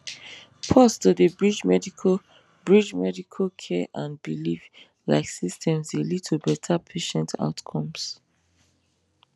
pause to dey bridge medical bridge medical care and belief like systems dey lead to better patient outcomes